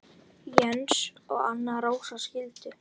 Jens og Anna Rósa skildu.